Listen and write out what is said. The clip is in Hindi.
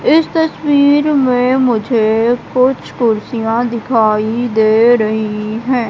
इस तस्वीर में मुझे कुछ कुर्सियां दिखाई दे रही हैं।